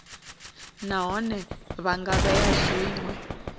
nahone vha nga vhea zwinwe